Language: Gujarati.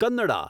કન્નડા